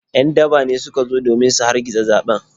‘Yan daba ne suka zo domin su hargitsa zaɓen.